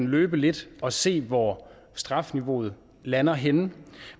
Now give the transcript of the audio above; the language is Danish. løbe lidt og se hvor strafniveauet lander henne